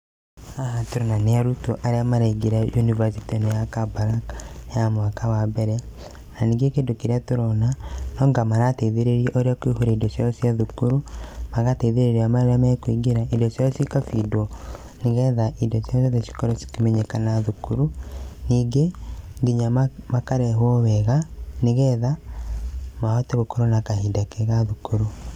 Haha tũrona nĩ arutwo, arĩa maraingĩra university ino ya Kabarak, ya mwaka wa mbere, na ningĩ kĩndũ kĩrĩa tũrona, nwanga marateithĩrĩrio ũrĩa kũiyũria indo ciao cia thukuru, magateithĩrĩrio ũrĩa mekũingĩra, indo ciao ciga feed wo, nĩgetha indo ciao ciothe cikorwo cikĩmenyekana thukuru, ningĩ nginya makarehwo wega nĩgetha mahote gũkorwo na kahinda kega thukuru.